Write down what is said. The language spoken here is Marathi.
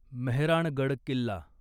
मेहराणगड किल्ला